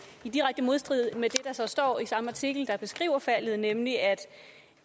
i direkte modstrid med det der så står i samme artikel der beskriver faldet nemlig at